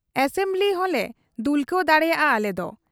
Assembly ᱦᱚᱸᱞᱮ ᱫᱩᱞᱠᱟᱹᱣ ᱫᱟᱲᱮᱭᱟᱜ ᱟ ᱟᱞᱮᱫᱚ ᱾